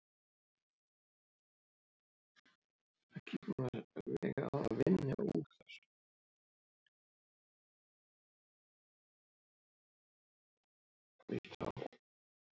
Í kjölfar þessa missir fólk oft meðvitund og deyr sé ekkert að gert.